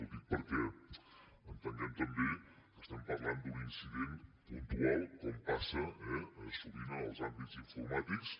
ho dic perquè entenguem també que estem parlant d’un incident puntual com passa eh sovint en els àmbits informàtics